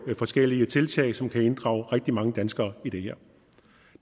forskellige tiltag som kan inddrage rigtig mange danskere i det her